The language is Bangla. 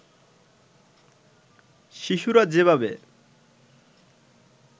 শিশুরা যেভাবে